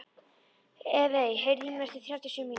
Evey, heyrðu í mér eftir þrjátíu og sjö mínútur.